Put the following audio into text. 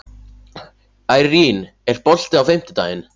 Irene, er bolti á fimmtudaginn?